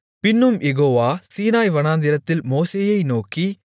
பின்னும் Jehovah Sinai வனாந்திரத்தில் மோசேயை நோக்கி